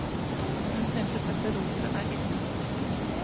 Hun synes dette rotet er ille.